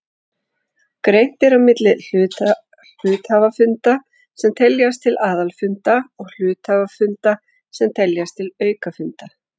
Greint er á milli hluthafafunda sem teljast til aðalfunda og hluthafafunda sem teljast til aukafunda.